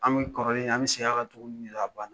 An mi kɔrɔlen, an mi mi segin ka tuguni ka ban.